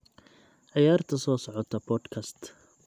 ciyaarta soo socota podcast